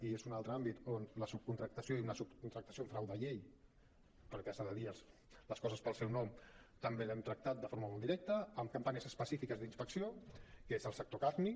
i és un altre àmbit on la subcontractació i una subcontractació amb frau de llei perquè s’han de dir les coses pel seu nom també l’hem tractat de forma molt directa amb campanyes específiques d’inspecció que és el sector carni